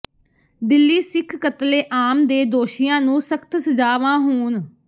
ਦਿੱਲੀ ਸਿੱਖ ਕਤਲਏਆਮ ਦੇ ਦੋਸ਼ੀਆਂ ਨੂੰ ਸਖ਼ਤ ਸਜਾਵਾਂ ਹੋਣ